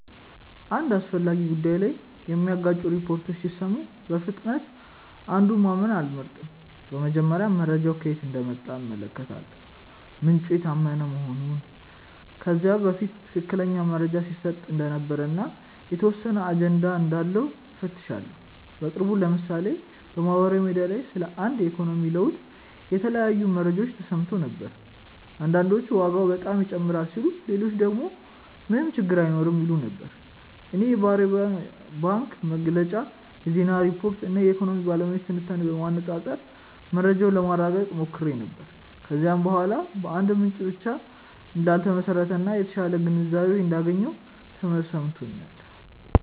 አንድ አስፈላጊ ጉዳይ ላይ የሚጋጩ ሪፖርቶችን ሲሰሙ በፍጥነት አንዱን ማመን አልመርጥም። በመጀመሪያ መረጃው ከየት እንደመጣ እመለከታለሁ፤ ምንጩ የታመነ መሆኑን፣ ከዚህ በፊት ትክክለኛ መረጃ ሲሰጥ እንደነበር እና የተወሰነ አጀንዳ እንዳለው እፈትሻለሁ። በቅርቡ ለምሳሌ በማህበራዊ ሚዲያ ላይ ስለ አንድ የኢኮኖሚ ለውጥ የተለያዩ መረጃዎች ተሰምተው ነበር። አንዳንዶች ዋጋ በጣም ይጨምራል ሲሉ ሌሎች ደግሞ ምንም ችግር አይኖርም ይሉ ነበር። እኔ የብሔራዊ ባንክ መግለጫ፣ የዜና ሪፖርቶች እና የኢኮኖሚ ባለሙያዎች ትንታኔዎችን በማነፃፀር መረጃውን ለማረጋገጥ ሞክሬ ነበር። ከዚያ በኋላ በአንድ ምንጭ ብቻ እንዳልተመሰረተ እና የተሻለ ግንዛቤ እንዳገኘሁ ተሰምቶኛል።